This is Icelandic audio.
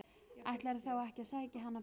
Ætlarðu þá ekki að sækja hana bara á